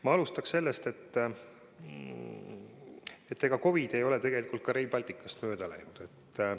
Ma alustan sellest, et COVID ei ole Rail Balticust mööda läinud.